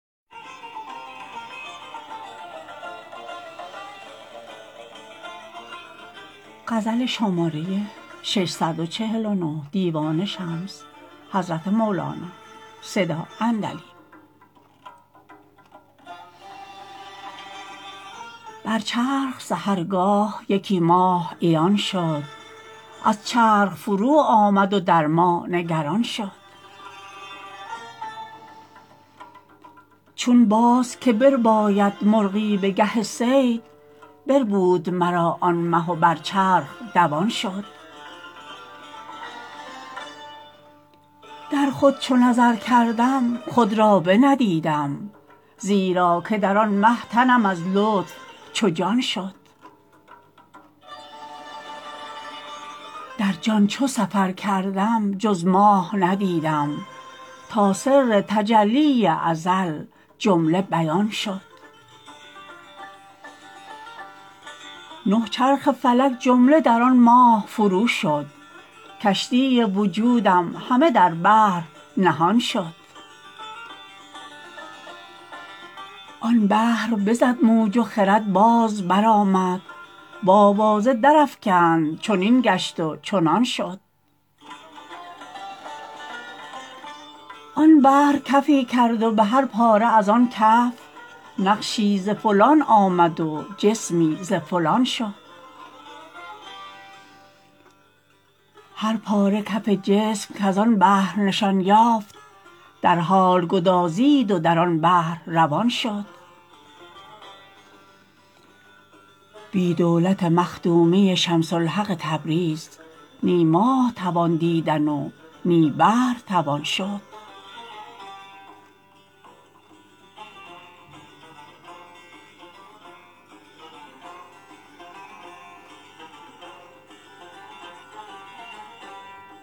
بر چرخ سحرگاه یکی ماه عیان شد از چرخ فرود آمد و در ما نگران شد چون باز که برباید مرغی به گه صید بربود مرا آن مه و بر چرخ دوان شد در خود چو نظر کردم خود را بندیدم زیرا که در آن مه تنم از لطف چو جان شد در جان چو سفر کردم جز ماه ندیدم تا سر تجلی ازل جمله بیان شد نه چرخ فلک جمله در آن ماه فروشد کشتی وجودم همه در بحر نهان شد آن بحر بزد موج و خرد باز برآمد و آوازه درافکند چنین گشت و چنان شد آن بحر کفی کرد و به هر پاره از آن کف نقشی ز فلان آمد و جسمی ز فلان شد هر پاره کف جسم کز آن بحر نشان یافت در حال گدازید و در آن بحر روان شد بی دولت مخدومی شمس الحق تبریز نی ماه توان دیدن و نی بحر توان شد